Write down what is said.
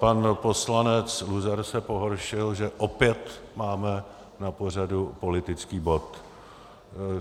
Pan poslanec Luzar se pohoršil, že opět máme na pořadu politický bod.